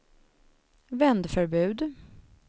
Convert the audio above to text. vändförbud